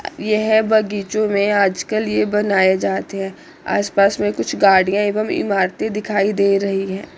यह बगीचों में आजकल ये बनाए जाते है आस पास में कुछ गाड़ियां एवं इमारतें दिखाई दे रही हैं।